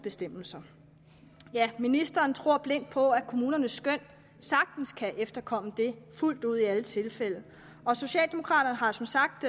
bestemmelser ministeren tror blindt på at kommunernes skøn sagtens kan efterkomme det fuldt ud i alle tilfælde og socialdemokraterne har som sagt